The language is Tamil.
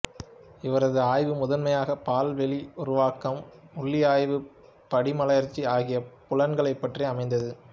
இவரது ஆய்வு முதன்மையாக பால்வெளி உருவாக்கம் உள்ளியைபு படிமலர்ச்சி ஆகிய புலங்கள் பற்றி அமைந்தது